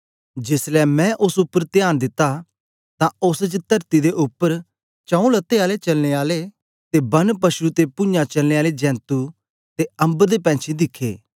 जेसलै मैं ओस उपर त्यान दित्ता तां ओस च तरती दे उपर चाऊ जञें चलने आले ते वन पशु ते पूञाँ चलने आले जेंतु ते अम्बर दे पैंछी दिखे